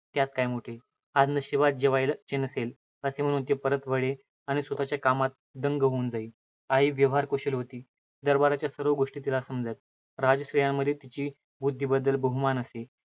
त्यात काय मोठे? आज नशिबात जेवायचे नसेल! असे म्हणून ती परत वळे आणि स्वतःच्या कामात ढंग होऊन जाई. आई व्यवहारकुशल होती. दरवारच्या सर्व गोष्टी तिला समजत. राजस्त्रियांमध्ये तिच्या बुद्धीबददल बहुमान असे.